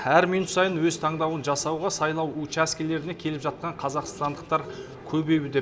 әр минут сайын өз таңдауын жасауға сайлау учаскелеріне келіп жатқан қазақстандықтар көбеюде